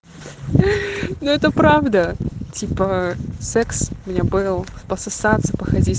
ну это правда типа секс у меня был пососаться походить